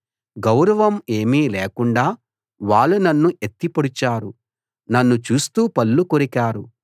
గౌరవం ఏమీ లేకుండా వాళ్ళు నన్ను ఎత్తి పొడిచారు నన్ను చూస్తూ పళ్ళు కొరికారు